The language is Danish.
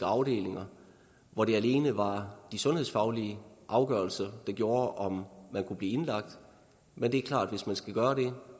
afdelinger hvor det alene var de sundhedsfaglige afgørelser der gjorde om man kunne blive indlagt men det er klart at hvis man skal gøre det